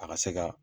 A ka se ka